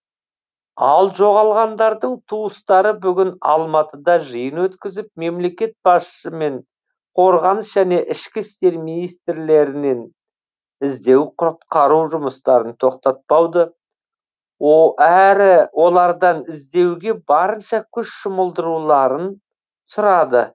ал жоғалғандардың туыстары бүгін алматыда жиын өткізіп мемлекет басшысы мен қорғаныс және ішкі істер министрлерінен іздеу құтқару жұмыстарын тоқтатпауды әрі олардан іздеуге барынша күш жұмылдырылуын сұрады